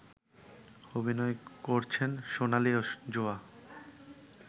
অভিনয় করছেন সোনালি ও যোয়া